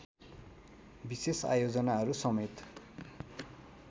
विशेष आयोजनाहरू समेत